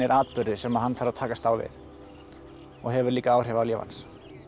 atburðir sem hann þarf að takast á við og hefur líka áhrif á líf hans